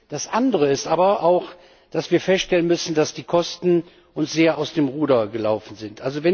Das andere ist aber auch, dass wir feststellen müssen, dass uns die Kosten sehr aus dem Ruder gelaufen sind.